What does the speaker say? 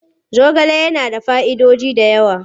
Zogale yana da fa'idoji da yawa.